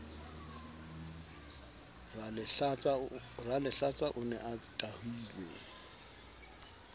ralehlatsa o ne a tahilwe